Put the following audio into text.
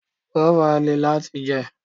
Guava lè láti jẹ.